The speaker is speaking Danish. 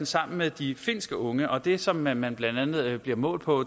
sammen med de finske unge førstepladsen det som man man blandt andet bliver målt på